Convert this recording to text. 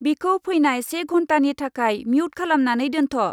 बिखौ फैनाय से घन्टानि थाखाय म्युट खालामनानै दोन्थ'।